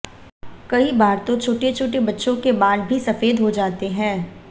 कई बार तो छोटे छोटे बच्चों के बाल भी सफ़ेद हो जाते है